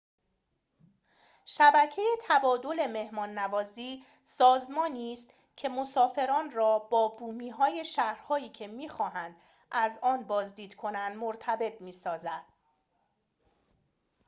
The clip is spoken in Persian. شبکه تبادل مهمان‌نوازی سازمانی است که مسافران را با بومی‌های شهرهایی که می‌خواهند از آن بازدید کنند مرتبط می‌سازد